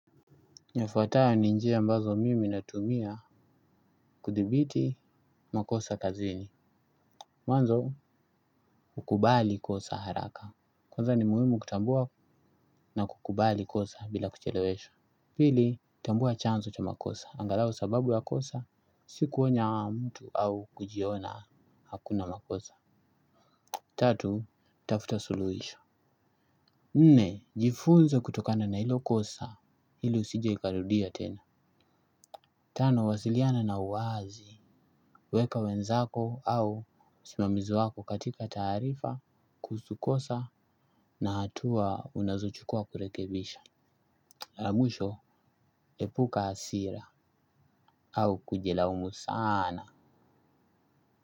Ifuatayo ni njia ambazo mimi natumia kudhibiti makosa kazini. Mwanzo hukubali kosa haraka. Kwanza ni muhimu kutambua na kukubali kosa bila kucheleshwa. Pili, kutambua chanzo cha makosa. Angalau sababu ya kosa, siku onya mtu au kujiona hakuna makosa. Tatu, tafuta suluhisho. Nne, jifunze kutokana na hilo kosa, ili usije ukarudia tena. Tano, wasiliana na uwazi. Weka wenzako au simamizi wako katika taarifa kuhusu kosa na hatua unazochukua kurekebisha Lamwiho epuka hasira au kujilaumu sana.